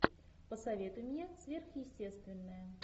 посоветуй мне сверхъестественное